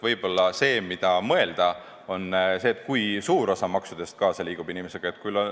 Võib-olla võiks mõelda, kui suur osa maksudest liigub inimesega kaasa.